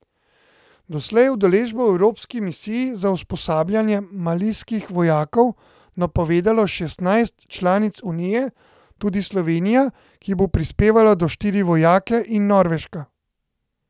Doslej je udeležbo v evropski misiji za usposabljanje malijskih vojakov napovedalo šestnajst članic unije, tudi Slovenija, ki bo prispevala do štiri vojake, in Norveška.